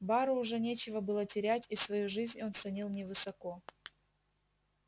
бару уже нечего было терять и свою жизнь он ценил невысоко